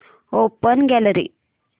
open gallery